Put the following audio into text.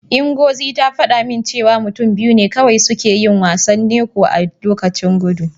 Ngozi ta faɗa min cewa mutum biyu ne kawai suke yin wasan Ncho a lokaci guda.